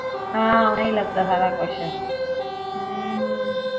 ਹਾਂ ਓਨਾ ਹੀਂ ਲੱਗਦਾ ਸਾਰਾ ਕੁਜ ਹਮ